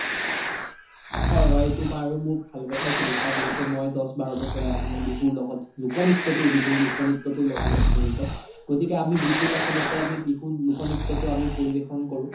হয় হয় সেইতো বাৰু মোৰ ভাল কথা সুধিছা যিহেতু মই দ্শ বাৰ বছৰে আজি মই বিহুৰ লগত লোক নিত্যতো বিহুৰ, বিহুৰ লোক নিত্যতোৰ লগত জৰিত গতিকে আমি বিহু ত আচলতে আমি বিহু লোক নিত্যতো আমি পৰিবেশন কৰো